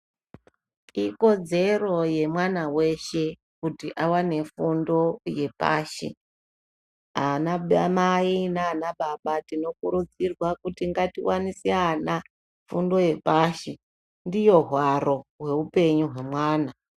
Ikodzero yemwana weshe kuti awane fundo yepashi ana mai nana baba tinokurudzirwa kuti ngatiwanise ana fundo yepashi ndiyo hwaro hwehupenyu hwemwana.